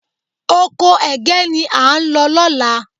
Oko ẹ̀gẹ́ ni à ń lọ lọ́la